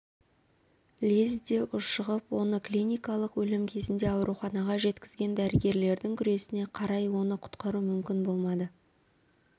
лезде ушығып оны клиникалық өлім кезінде ауруханаға жеткізген дәрігерлердің күресіне қарай оны құтқару мүмкін болмады